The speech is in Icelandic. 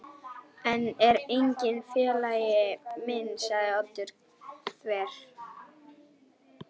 Hann er enginn félagi minn sagði Oddur þver